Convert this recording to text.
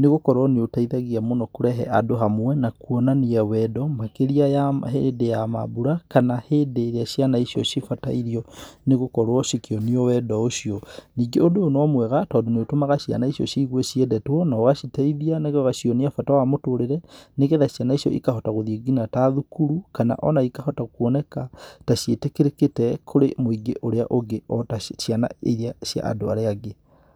nĩgũkorwo nĩũteithagia mũno kũrehe andũ hamwe na kuonania wendo makĩria ya ma hĩndĩ ya mambura, kana hĩndĩ ĩrĩa ciana icio cibatairio, nĩ gũkorwo cikĩonio wendo ũcio, ningĩ ũndũ ũyũ no mwega tondũ nĩũtũmaga ciana icio ciigue ciendetwo na ũgaciteithia na gũcionia bata wa mũtũrĩre, nĩgetha ciana icio ikahota gũthiĩ nginya ta thukuru, kana ona ikahota kuoneka, ta ciĩtĩkĩrĩkĩte kũrĩ mũingĩ ũrĩa ũngĩ ota ci ciana iria cia andũ arĩa angĩ.